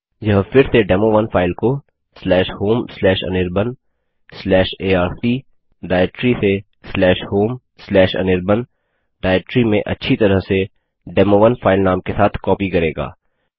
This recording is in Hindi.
यह फिर से डेमो1 फाइल को homeanirbanarc डाइरेक्टरी से homeanirban डाइरेक्टरी में अच्छी तरह से डेमो1 फाइल नाम के साथ कॉपी करेगा